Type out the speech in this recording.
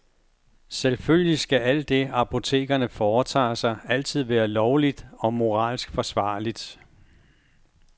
Selvfølgelig skal alt det, apotekerne foretager sig, altid være lovligt og moralsk forsvarligt.